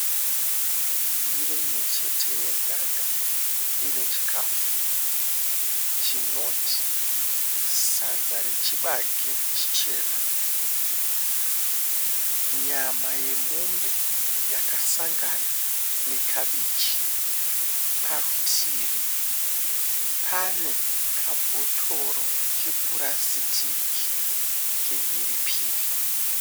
Ndiro imwechete yedhaga ine chikafu chinoti sadza rechibage chichena nyama yemombe yakasangana nekabichi. Parutivi pane kabhotoro kepurasitiki kemhiripiri.